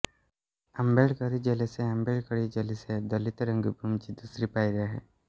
आंबेडकरी जलसे आंबेडकरी जलसे दलित रंगभूमीची दुसरी पायरी आहे